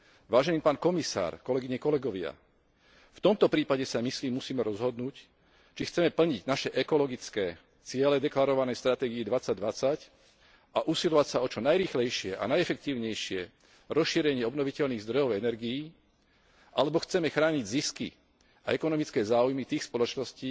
Vážený pán komisár, kolegyne, kolegovia, v tomto prípade sa, myslím, musíme rozhodnúť, či chceme plniť naše ekologické ciele deklarované v stratégii 2020 a usilovať sa o čo najrýchlejšie a najefektívnejšie rozšírenie obnoviteľných zdrojov energií, alebo chceme chrániť zisky a ekonomické záujmy tých spoločností,